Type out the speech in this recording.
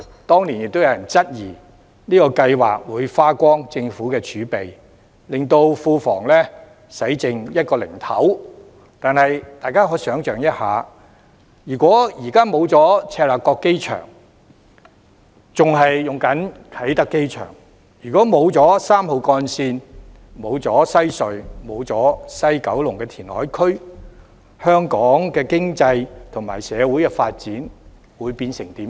當年亦有人質疑這項計劃會花光政府儲備，令庫房用剩一個零頭，但是大家可以想象一下，如果現在沒有赤鱲角機場，仍然使用啟德機場；如果沒有3號幹線，沒有西隧，也沒有西九龍填海區，香港的經濟及社會發展會變成怎樣？